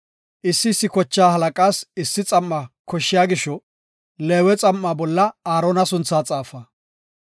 Issi issi kochaa halaqaas issi xam7a koshshiya gisho, Leewe xam7aa bolla Aarona sunthaa xaafa.